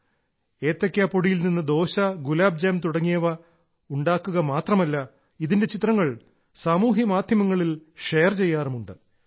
ഇത് കേവലം ഏത്തയ്ക്കാ പൊടിയിൽനിന്ന് ദോശ ഗുലാബ് ജാം തുടങ്ങിയവ ഉണ്ടാക്കുക മാത്രമല്ല ഇതിന്റെ ചിത്രങ്ങൾ സാമൂഹ്യ മാധ്യമങ്ങളിൽ ഷെയർ ചെയ്യാറുമുണ്ട്